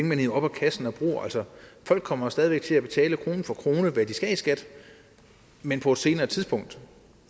man hiver op af kassen og bruger folk kommer jo stadig væk til at betale krone for krone hvad de skal i skat men på et senere tidspunkt